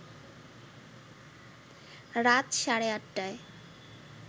রাত সাড়ে ৮টায়